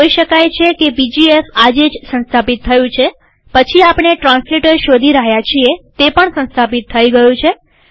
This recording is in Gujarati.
જોઈ શકાય છે કે પીજીએફ આજે જ સંસ્થાપિત થયું છેપછીઆપણે ટ્રાન્સલેટર શોધી રહ્યા છીએતે પણ સંસ્થાપિત થઇ ગયું છે